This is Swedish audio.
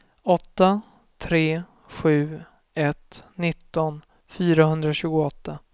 åtta tre sju ett nitton fyrahundratjugoåtta